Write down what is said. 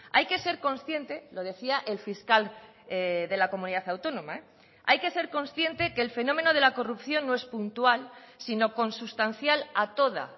hay que ser consciente lo decía el fiscal de la comunidad autónoma hay que ser consciente que el fenómeno de la corrupción no es puntual sino consustancial a toda